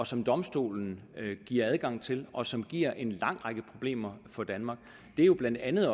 som domstolen giver adgang til og som giver en lang række problemer for danmark det jo blandt andet